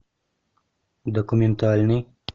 документальный